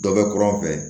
Dɔ bɛ kuran fɛ